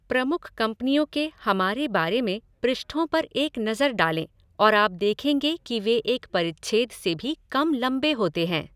प्रमुख कंपनियों के 'हमारे बारे में' पृष्ठों पर एक नज़र डालें और आप देखेंगे कि वे एक परिच्छेद से भी कम लंबे होते हैं।